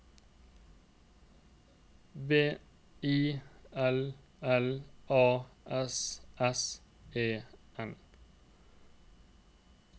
W I L L A S S E N